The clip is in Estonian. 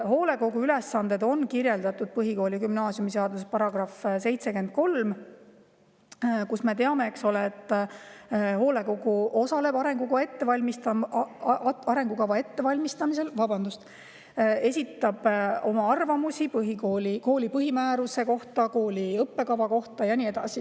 " Hoolekogu ülesanded on kirjeldatud põhikooli- ja gümnaasiumiseaduse §‑s 73, mille põhjal me teame, et hoolekogu osaleb arengukava ettevalmistamisel, esitab oma arvamuse kooli põhimääruse kohta, kooli õppekava kohta ja nii edasi.